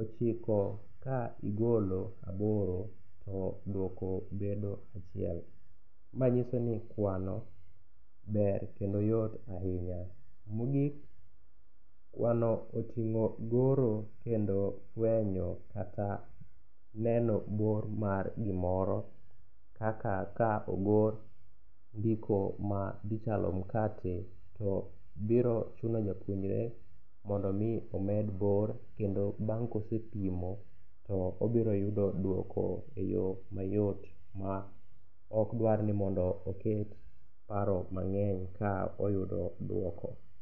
ochiko ka igolo aboro to dwoko bedo achiel. Ma nyiso ni kwano ber kendo yot ahinya. Mogik kwano oting'o goro kendo twenyo kata neno bor mar gimoro kaka ka ogor ndiko ma dhichalo makte, to biro chuno japuonjre mondo omi omed bor kendo bang' kosepimo, to obiro yudo dwoko e yo mayot ma okdwar ni mondo oket paro mang'eny ka oyudo dwoko.